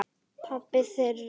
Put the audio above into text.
Pabbi þeirra?